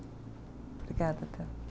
Obrigada tá.